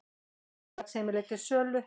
Félagsheimili til sölu